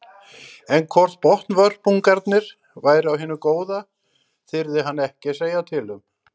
En hvort botnvörpungarnir væru af hinu góða þyrði hann ekki að segja til um.